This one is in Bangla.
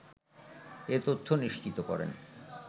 এ তথ্য নিশ্চিত করেন